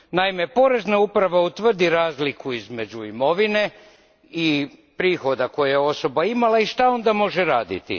Naime, porezna uprava utvrdi razliku između imovine i prihoda koje je osoba imala, i što onda može raditi?